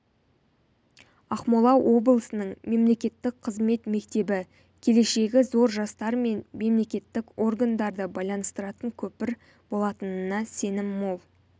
ақмола облысының мемлекеттік қызмет мектебі келешегі зор жастар мен мемлекетік органдарды байланыстыратын көпір болатынына сенім мол